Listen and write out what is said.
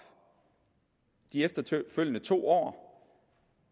de efterfølgende to år